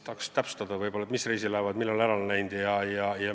Vahest täpsustate, mis reisilaevad millal ära on läinud?